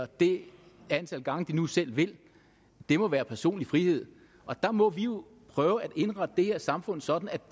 det antal gange de nu selv vil det må være personlig frihed og der må vi jo prøve at indrette det her samfund sådan at